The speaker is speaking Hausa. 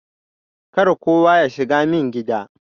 Kar kowa yashiga min gida.